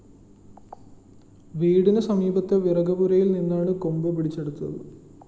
വീടിന് സമീപത്തെ വിറകുപുരയില്‍ നിന്നാണ് കൊമ്പ് പിടിച്ചെടുത്തത്